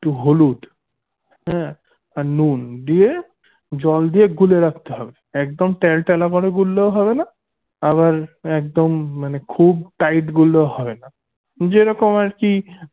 একটু হলুদ হ্যা আর নুন দিয়ে জল দিয়ে গুলে রাখতে হবে একদম টেলতেলা ভাবে গুললেও হবেনা আবার একদম মানে খুব tight গুললেও হবেনা যেরকম আরকি